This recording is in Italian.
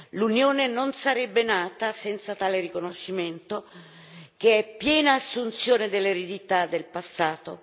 L'Unione non sarebbe nata senza tale riconoscimento, che è piena assunzione dell'eredità del passato.